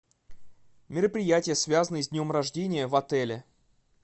мероприятия связанные с днем рождения в отеле